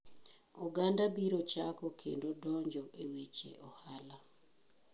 Oganda biro chako kendo donjo e weche ohala.